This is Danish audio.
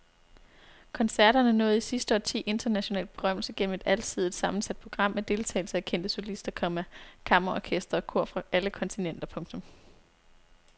Koncerterne nåede i sidste årti international berømmelse gennem et alsidigt sammensat program med deltagelse af kendte solister, komma kammerorkestre og kor fra alle kontinenter. punktum